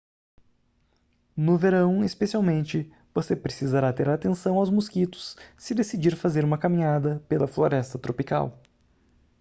no verão especialmente você precisará ter atenção aos mosquitos se decidir fazer uma caminhada pela floresta tropical